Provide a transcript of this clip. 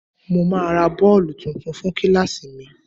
Mo máa ra bọ́ọ̀lù tuntun fún kíláàsì mi